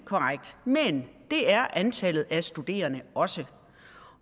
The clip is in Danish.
men det er antallet af studerende også